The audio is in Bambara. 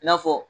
I n'a fɔ